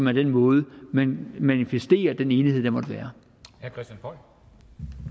er den måde man manifesterer den enighed der måtte være